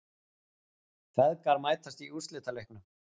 Feðgar mætast í úrslitaleiknum